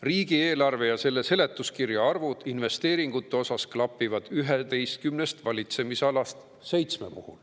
Riigieelarve ja selle seletuskirja arvud investeeringute osas klapivad 11st valitsemisalast seitsme puhul.